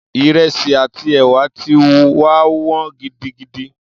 Ìrẹsì àti ẹ̀wà ti wá wọ́n gidigidi.